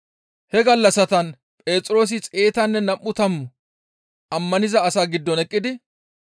He gallassatan Phexroosi xeetanne nam7u tammu ammaniza asaa giddon eqqidi,